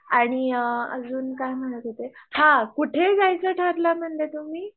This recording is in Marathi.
आणी अ अजून काई म्हणत होते हा कुठे जायचं ठरलं म्हणले तुम्ही?